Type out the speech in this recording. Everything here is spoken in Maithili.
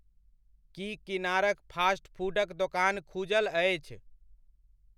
की किनारक फास्ट फूडक दोकान खुजल अछि?